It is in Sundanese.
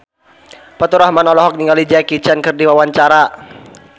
Faturrahman olohok ningali Jackie Chan keur diwawancara